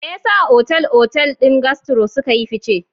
Me yasa Otal-otal din Gastro suka yi fice?